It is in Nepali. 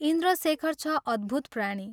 इन्द्रशेखर छ अद्भुत प्राणी!